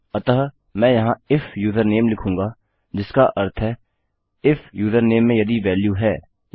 अतः मैं यहाँ इफ यूजरनेम लिखूँगा जिसका अर्थ है इफ यूजरनेम में यदि वेल्यू है